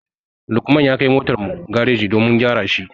Lukman ya kai motar mu gareji domin a gyara shi.